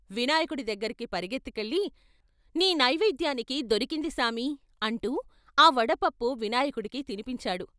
వినాయకుడి దగ్గరికి పరుగెత్తుకెళ్ళి "నీ నైవేద్యానికి దొరికింది సామీ" అంటూ ఆ వడపప్పు వినాయకుడికి తినిపించాడు.